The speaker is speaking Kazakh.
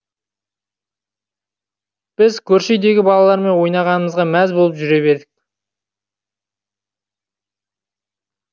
біз көрші үйдегі балалармен ойнағанымызға мәз болып жүре бердік